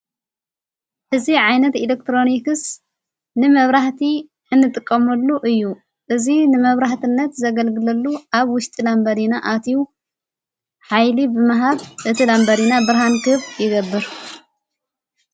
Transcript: እዚ ዓይነት ኤሌክትሮኒክስ ንመብራህቲ እንጥቀምሉ እዩ እዙ ንመብራህትነት ዘገልግለሉ ኣብ ውሽጢ ላ እምበሪና ኣትዩ ኃይሊ ብምሃብ እቲ ላምበሪና ብርሃን ክህብ ይገብር::